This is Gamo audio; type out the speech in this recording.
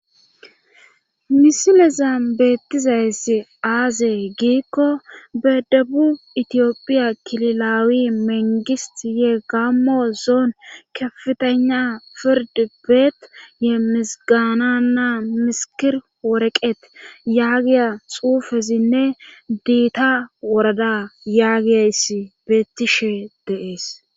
misilezan beettizayssi aazee giikko bedabu itiyopphiya kililawi mengisi yee gammo zoon kefitana fird beet yeemmisgaana naa misikir woreqet yaagiya xuufezinne diita worada yaagiyayssi beettishe de'ees